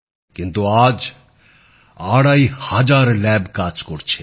কিন্তু আজ আড়াই হাজার পরীক্ষাগার কাজ করছে